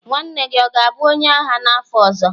nwanne gị ọ ga-abụ onye agha n'afọ ọzọ?